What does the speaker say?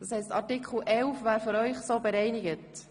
– Damit wäre Artikel 11 für Sie bereinigt?